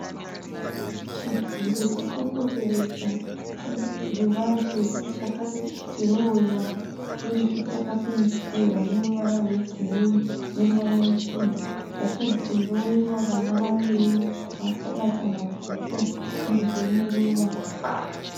Chidziro chakapoteredza ruvazhe, chaka dhirowewa uyezve chaka pendewa neruvara rwegireyi neruvara ruchena, bvacha dhirowewa vana vaviri vakabata mabhuku uyezve neruva.